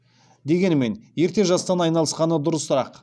дегенмен ерте жастан айналысқаны дұрысырақ